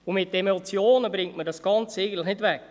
Mit den Emotionen bringt man das Ganze eigentlich nicht weg.